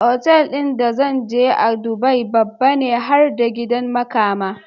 Otal din da zanje a dubai babbane har da gidan makama